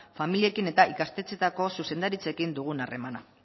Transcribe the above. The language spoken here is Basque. familiekin eta ikastetxeetako zuzendaritzekin dugun harremana